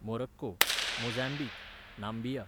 Morocco, Mozambique, Namibia,